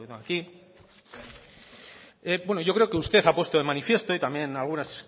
aquí bueno yo creo que usted ha puesto de manifiesto y también algunas